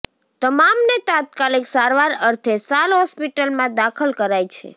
તમામને તાત્કાલિક સારવાર અર્થે સાલ હોસ્પિટલમાં દાખલ કરાઇ છે